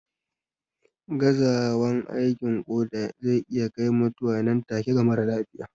Gazawan aikin koda zai iya kai mutuwa nan take na marar lafiya